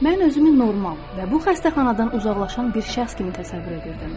Mən özümü normal və bu xəstəxanadan uzaqlaşan bir şəxs kimi təsəvvür edirdim.